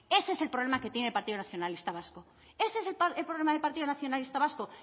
ese es el problema que tiene el partido nacionalista vasco ese es el problema del partido nacionalista vasco